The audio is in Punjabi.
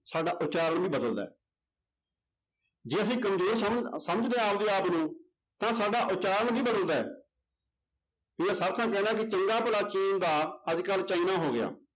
ਸਾਡਾ ਉਚਾਰਨ ਵੀ ਬਦਲਦਾ ਹੈ ਜੇ ਅਸੀਂ ਕੰਮਜ਼ੋਰ ਸਮ~ ਸਮਝਦੇ ਹਾਂ ਆਪਦੇ ਆਪ ਨੂੰ ਤਾਂ ਸਾਡਾ ਉਚਾਰਨ ਵੀ ਬਦਲਦਾ ਹੈ ਵੀ ਇਹ ਹਰ ਥਾਂ ਕਹਿਣਾ ਕਿ ਚੰਗਾ ਭਲਾ ਚੀਨ ਦਾ ਅੱਜ ਕੱਲ੍ਹ ਚਾਈਨਾ ਹੋ ਗਿਆ